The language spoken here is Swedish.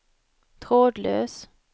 trådlös